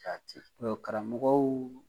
Jaati.Ɔɔ karamɔgɔw